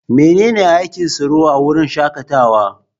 Menene aikin tsaro a wurin shakatawa?